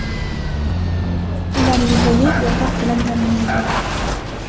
Ular yegulik, yotoq bilan ta’minlangan.